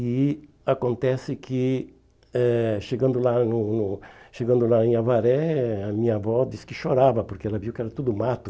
E acontece que, eh chegando lá no no chegando lá em Avaré, a minha avó disse que chorava, porque ela viu que era tudo mato.